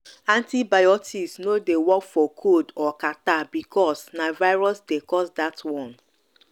antibiotics no dey work for cold or catarrh because na virus dey cause dat one.